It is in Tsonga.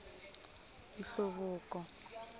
nhluvuko